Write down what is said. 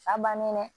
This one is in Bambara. A bannen dɛ